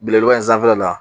Belebeleba in sanfɛla la.